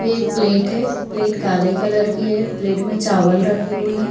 एक प्लेट है प्लेट काले कलर कि है प्लेट में चावल रखे हुए हैं।